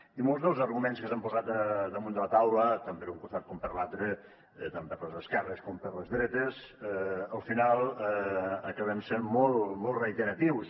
i molts dels arguments que s’han posat damunt de la taula tant per un costat com per l’altre tant per les esquerres com per les dretes al final acaben sent molt molt reiteratius